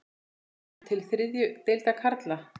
Kemur til þriðju deildar karla?